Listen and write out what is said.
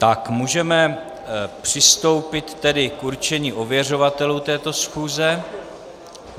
Tak, můžeme přistoupit tedy k určení ověřovatelů této schůze.